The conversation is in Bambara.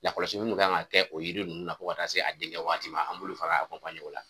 Lakɔlɔsili minnu kan ka kɛ o yiri ninnu na fo ka taa se a denkɛ waati ma an b'olu fana o la.